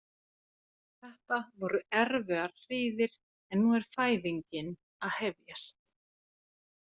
Þetta voru erfiðar hríðir en nú er fæðingin að hefjast.